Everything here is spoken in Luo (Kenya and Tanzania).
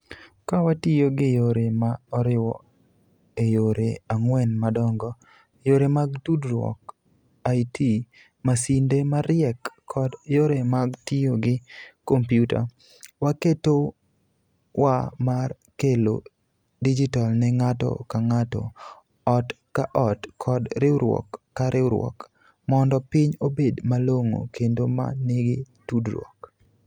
Ka watiyo gi yore ma oriw e yore ang'wen madongo - yore mag tudruok, IT, masinde mariek, kod yore mag tiyo gi kompyuta - waketowa mar kelo digital ne ng'ato ka ng'ato, ot ka ot kod riwruok ka riwruok mondo piny obed malong'o kendo ma nigi tudruok.